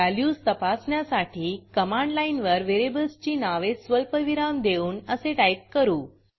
values तपासण्यासाठी command लाईनवर व्हेरिएबल्सची नावे स्वल्पविराम देऊन असे टाईप करू